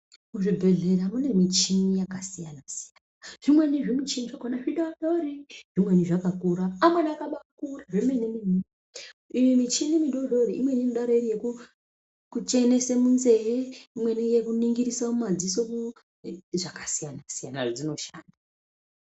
Muzvibhendlera mune michini yakasiyana siyana, zvimweni zvimichini zvakhona zvidodori, zvimweni zvakakura, amweni akabaakura zvemene mene. Iyi michini midodori imweni inodaro iri yekuchenesa munzee, imweni yekuningirisa mumadziso zvakasiyana siyana zvadzinoshanda.